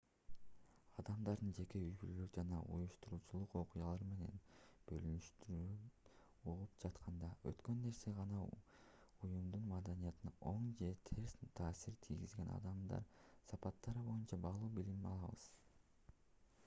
адамдардын жеке үй-бүлөлүк жана уюштуруучулук окуялары менен бөлүшкөндөрүн угуп жатканда өткөн нерсе жана уюмдун маданиятына оң же терс таасир тийгизген адамдык сапаттар боюнча баалуу билим алабыз